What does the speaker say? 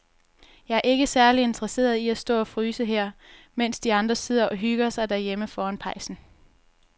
Jeg er ikke særlig interesseret i at stå og fryse her, mens de andre sidder og hygger sig derhjemme foran pejsen.